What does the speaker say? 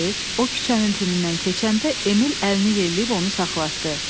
O küçənin tinindən keçəndə Emil əlini yelləyib onu saxlatdı.